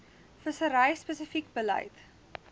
vissery spesifieke beleid